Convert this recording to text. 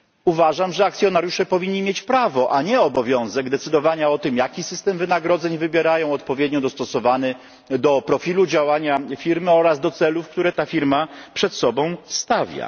Uważam, że akcjonariusze powinni mieć prawo, a nie obowiązek decydowania o tym, jaki system wynagrodzeń wybierają, system odpowiednio dostosowany do profilu działania firmy oraz do celów, które ta firma przed sobą stawia.